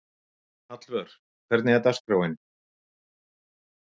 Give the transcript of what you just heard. Hallvör, hvernig er dagskráin?